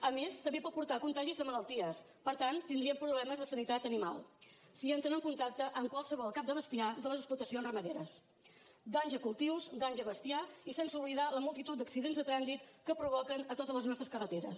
a més també pot portar contagis de malalties per tant tindríem problemes de sanitat animal si entren en contacte amb qualsevol cap de bestiar de les explotacions ramaderes danys a cultius danys a bestiar i sense oblidar la multitud d’accidents de trànsit que provoquen a totes les nostres carreteres